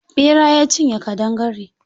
Ɓera ya cinye ƙadangare.